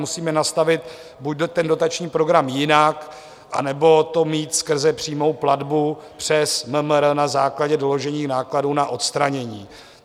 Musíme nastavit buď ten dotační program jinak, anebo to mít skrze přímou platbu přes MMR na základě doložení nákladů na odstranění.